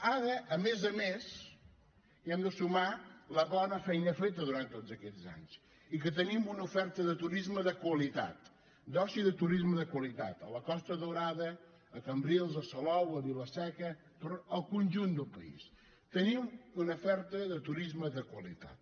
ara a més a més hi hem de sumar la bona feina feta durant tots aquests anys i que tenim una oferta de turisme de qualitat d’oci i de turisme de qualitat a la costa daurada a cambrils a salou a vila seca al conjunt del país tenim una oferta de turisme de qualitat